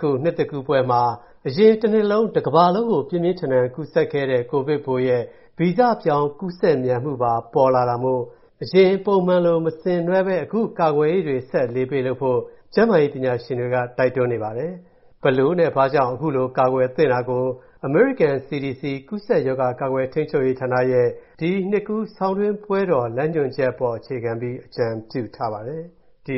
ခု၊ နှစ်သစ်ကူးပွဲမှာ၊ အရင်တနှစ်လုံး ကမ္ဘာတဝှမ်းမှာ ပြင်းပြင်းထန်ထန် ကူးစက်ခဲ့တဲ့၊ ကိုဗစ်ပိုးရဲ့ ဗီဇပြောင်း ပိုကူးစက်မြန်မူပါ ထွက်ပေါ်လာတာမို့၊ အရင်ပုံမှန်လို မဆင်နွှဲဘဲ၊ အခုလို ကာကွယ်ရေးတွေဆက်ပြီး အလေးပေးလုပ်ဖို့ ကျန်းမာရေးပညာရှင်တွေက တိုက်တွန်းနေပါတယ်။ အခုလို ကာကွယ်နိုင်ရေးအတွက်၊ အမေရိကန် CDC ကူးစက်ရောဂါ ကာကွယ်ထိန်းချုပ်ရေးဌာနက၊ ဒီနှစ်ကူးဆောင်းတွင်း ပွဲတော်ဆိုင်ရာ လမ်းညွှန်ချက်ကို အသေးစိတ်ထုတ်ပြန် အကြံပြုထားပါတယ်။ ဒီ